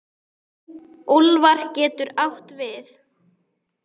Úlfar getur átt við